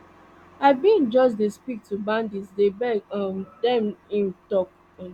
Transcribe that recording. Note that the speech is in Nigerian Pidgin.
i bin just dey speak to bandits dey beg um dem im tok um